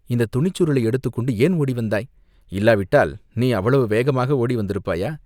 இந்தத் துணிச்சுருளை எடுத்துக் கொண்டு ஏன் ஓடி வந்தாய்?" "இல்லாவிட்டால், நீ அவ்வளவு வேகமாக ஓடி வந்திருப்பாயா?